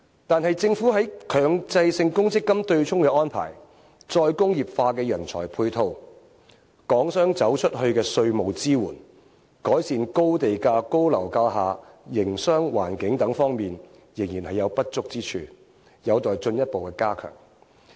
但是，政府在強制性公積金對沖的安排、再工業化的人才配套、港商走出去的稅務支援、改善高地價高樓價下營商環境等方面，仍然有不足之處，有待進一步加強。